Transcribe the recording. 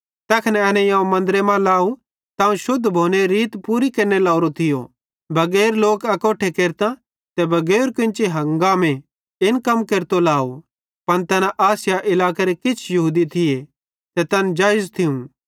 तैखन एनेईं अवं मन्दरे मां लाव त अवं शुद्ध भोनेरी रीत पूरी केरने लोरो थियो बगैर लोक अकोट्ठे केरतां ते बगैर कोन्ची हंगामे इन कम केरतो लाव पन तैना आसिया इलाकेरे किछ यहूदी थी ते तैन जाईज थियूं